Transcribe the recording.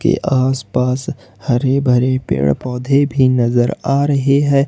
के आसपास हरे भरे पेड़ पौधे भी नजर आ रहे हैं।